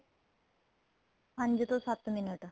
ਪੰਜ ਤੋਂ ਸੱਤ minute